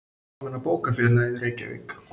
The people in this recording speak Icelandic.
Almenna bókafélagið, Reykjavík.